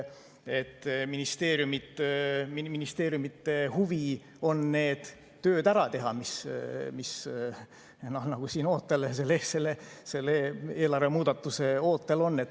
Ministeeriumide huvi on need tööd ära teha, mis siin selle eelarve muutmise ootel on.